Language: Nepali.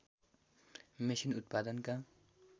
मेसिन उत्पादनका